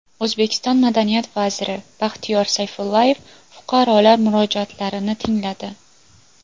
O‘zbekiston madaniyat vaziri Baxtiyor Sayfullayev fuqarolar murojaatlarini tingladi .